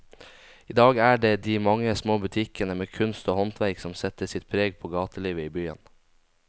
I dag er det de mange små butikkene med kunst og håndverk som setter sitt preg på gatelivet i byen.